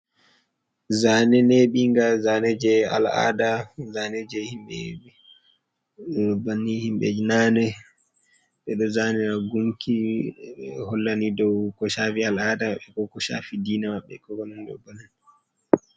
Zane neɓinga, zane je al'ada zane je himɓɓe ibanni himɓeji nane ɓeɗo zane agunki hollani dou koshafi al'ada be ko koshafi dina maɓɓe ko konani be man.